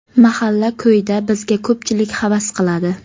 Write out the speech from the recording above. Mahalla ko‘yda bizga ko‘pchilik havas qiladi.